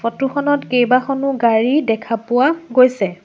Photo খনত কেইবাখনো গাড়ী দেখা পোৱা গৈছে।